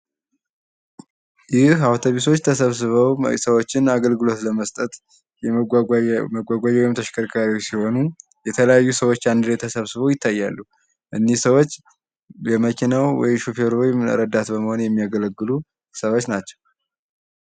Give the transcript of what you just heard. አውቶቢሶች ተሰብስበው አገልግሎት ለመስጠት ወይም ተሽከርካሪዎች ሲሆኑ ሰዎች አንድ አካባቢ ተሰብስበው ይገኛሉ እነዚህ ሰዎች የመኪናው ሹፌር ረዳት ወይም ተሳፋሪ በመሆን የሚያገለግሉ ሰዎች ናቸው።